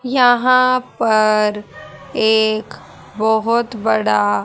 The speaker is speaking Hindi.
यहां पर एक बहोत बड़ा--